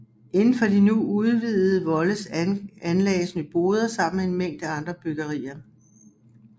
Indenfor de nu udvidede volde anlagdes Nyboder sammen med en mængde andre byggerier